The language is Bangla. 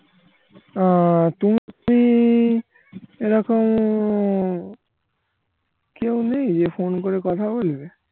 আহ তুমি কি এরকম কেউ নেই যে ফোন করে কথা বলবে